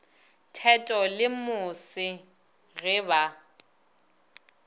theto le mose ge ba